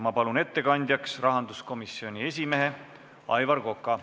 Ma palun ettekandjaks rahanduskomisjoni esimehe Aivar Koka.